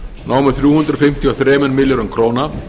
námu þrjú hundruð fimmtíu og þremur milljörðum króna